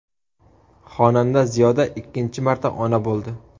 Xonanda Ziyoda ikkinchi marta ona bo‘ldi.